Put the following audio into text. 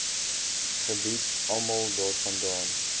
gebied almal daarvandaan